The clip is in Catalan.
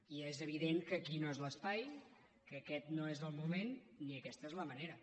i és evident que aquí no és l’espai que aquest no és el moment ni aquesta és la manera